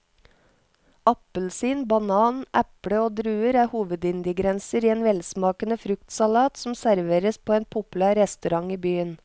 Appelsin, banan, eple og druer er hovedingredienser i en velsmakende fruktsalat som serveres på en populær restaurant i byen.